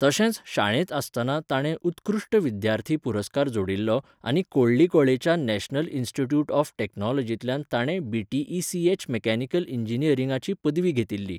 तशेंच शाळेंत आसतना ताणें उत्कृश्ट विद्यार्थी पुरस्कार जोडिल्लो आनी कोळ्ळिकोळेच्या नॅशनल इन्स्टिट्यूट ऑफ टेक्नॉलॉजींतल्यान ताणें बीटीईसीएच मेकॅनिकल इंजिनियरिंगाची पदवी घेतिल्ली.